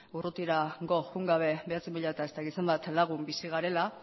urrutirago joan gabe bederatzi mila eta piko lagun bizi garela